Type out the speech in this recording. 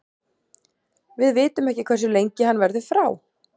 Við vitum ekki hversu lengi hann verður frá.